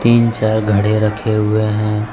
तीन चार घड़े रखे हुए हैं।